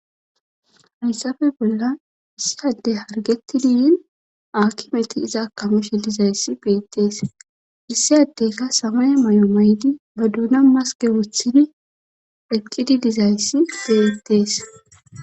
haysafe bolla issi adey hargeti diyin akkimeti iza akameshe dizayssi beettees issi addeyka samaya may7o maydi ba duuna maske woththini eqqidi dizayssi beettees